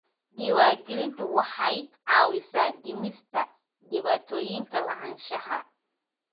Diiwaangelintu waxay caawisaa dhimista dhibaatooyinka lahaanshaha.